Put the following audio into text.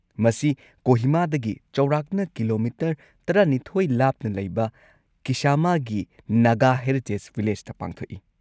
ꯃꯁꯤ ꯀꯣꯍꯤꯃꯥꯗꯒꯤ ꯆꯥꯎꯔꯥꯛꯅ ꯀꯤꯂꯣꯃꯤꯇꯔ ꯱꯲ ꯂꯥꯞꯅ ꯂꯩꯕ ꯀꯤꯁꯥꯃꯥꯒꯤ ꯅꯥꯒꯥ ꯍꯦꯔꯤꯇꯦꯖ ꯚꯤꯂꯦꯖꯇ ꯄꯥꯡꯊꯣꯛꯏ꯫